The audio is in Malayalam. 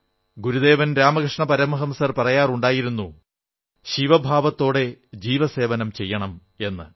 ഗുരുദേവൻ രാമകൃഷ്ണ പരമഹംസർ പറയാറുണ്ടായിരുന്നു ശിവഭാവത്തോടെ ജീവസേവനം ചെയ്യണം എന്ന്